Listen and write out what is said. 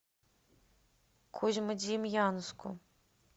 козьмодемьянску